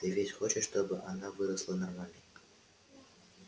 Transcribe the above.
ты ведь хочешь чтобы она выросла нормальной